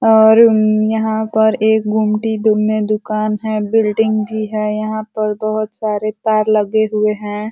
और म्-यहां पर एक गुमटी दुम्मे दुकान है। बिल्डिंग भी है। यहाँ पर बहोत सारे तार लगे हुए हैं।